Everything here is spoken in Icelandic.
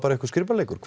skrípaleikur